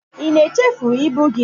ị na echefu ibu gị?